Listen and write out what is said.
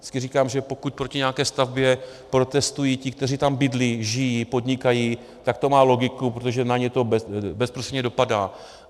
Vždycky říkám, že pokud proti nějaké stavbě protestují ti, kteří tam bydlí, žijí, podnikají, tak to má logiku, protože na ně to bezprostředně dopadá.